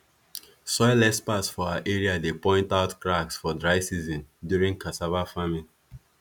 soil experts for our area dey point out cracks for dry season during cassava farming